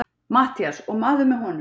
MATTHÍAS: Og maður með honum?